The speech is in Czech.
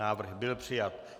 Návrh byl přijat.